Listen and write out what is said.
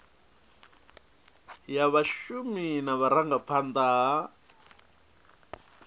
ya vhashumi na vhurangaphanda ha